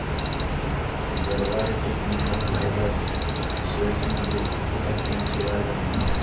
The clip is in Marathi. गरवारे टेक्निकल फायबर्स शेअर्स मध्ये किती टक्क्यांची वाढ झाली